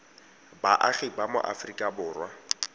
baagi ba mo aforika borwa